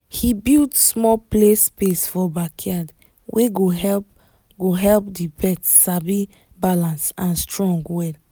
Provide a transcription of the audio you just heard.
he build small play space for backyard wey go help go help the pet sabi balance and strong well